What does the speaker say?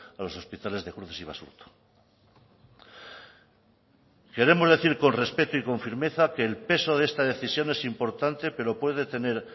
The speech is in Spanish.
a los hospitales de cruces y basurto queremos decir con respeto y con firmeza que el peso de esta decisión es importante pero puede tener